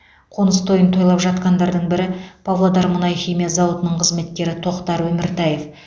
қоныс тойын тойлап жатқандардың бірі павлодар мұнай химия зауытының қызметкері тоқтар өміртаев